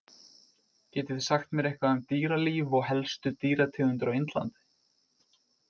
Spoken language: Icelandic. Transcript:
Getið þið sagt mér eitthvað um dýralíf og helstu dýrategundir á Indlandi?